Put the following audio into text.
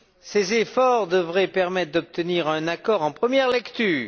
Ces efforts devraient permettre d'obtenir un accord en première lecture.